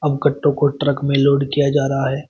इन कट्टो को ट्रक में लोड किया जा रहा है।